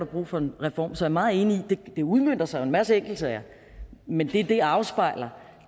brug for en reform så jeg er meget enig i at det udmønter sig i en masse enkeltsager men det det afspejler